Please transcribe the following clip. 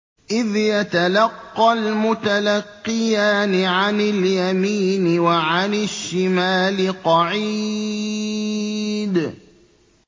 إِذْ يَتَلَقَّى الْمُتَلَقِّيَانِ عَنِ الْيَمِينِ وَعَنِ الشِّمَالِ قَعِيدٌ